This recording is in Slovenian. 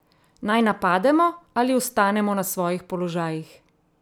Naj napademo, ali ostanemo na svojih položajih?